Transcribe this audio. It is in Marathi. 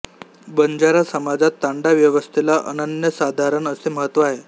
बंजारा समाजात तांडा व्यवस्थेला अनन्यसाधारण असे महत्त्व आहे